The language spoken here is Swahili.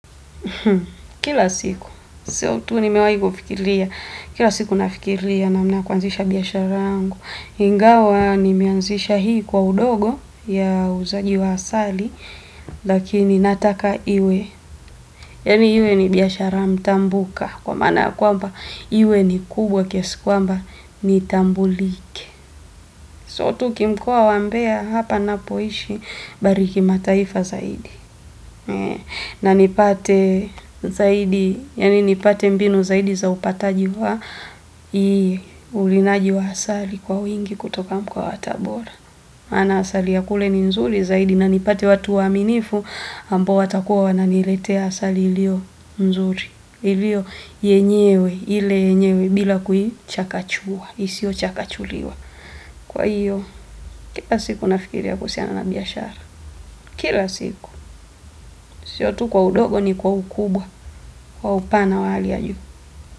Kila siku, so tu nimewai fikiria, kila siku nafikiria namna kuanzisha biyashara yangu. Ingawa nimeanzisha hii kwa udogo ya uzaji wa asali, lakini nataka iwe. Yaani iwe ni biashara mtambuka, kwa maana ya kwamba iwe ni kubwa kiasi kwamba nitambulike. Si tu mkoa wa mbeya hapa ninapoishi bali kimataifa zaidi na nipate mbinu zaidi zaupataji wa ulinaji wa asali kwa wingi kutoka kwa watabora. Maana asali ya kule ni nzuri zaidi na nipate watu waaminifu ambao watakuwa wananiletea asali ilio nzuri. Ilio yenyewe, ile yenyewe bila kuichakachua, isiochakachuliwa. Kwa hiyo, kila siku nafikiri kuhusiana na biashara. Kila siku sio tu kwa ufogi ni kwa ukubwa kwa upana wa hali ya juu.